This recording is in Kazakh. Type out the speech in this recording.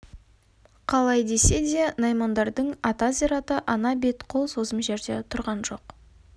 қалай десе де наймандардың ата зираты ана-бейіт қол созым жерде тұрған жоқ